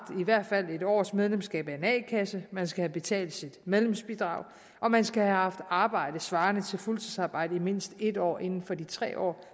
i hvert fald en års medlemskab af en a kasse man skal have betalt sit medlemsbidrag og man skal have haft arbejde svarende til fuldtidsarbejde i mindst en år inden for tre år